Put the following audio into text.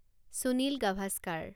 Sunil Gavaskar